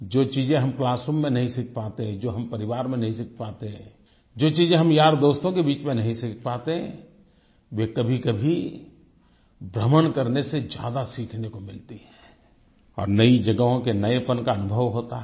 जो चीजें हम क्लासरूम में नहीं सीख पाते जो हम परिवार में नहीं सीख पाते जो चीज हम यारदोस्तों के बीच में नहीं सीख पाते वे कभीकभी भ्रमण करने से ज्यादा सीखने को मिलती है और नई जगहों के नयेपन का अनुभव होता है